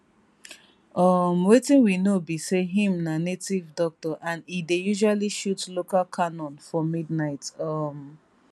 um wetin we know be say im na native doctor and e dey usually shoot local canon for midnight um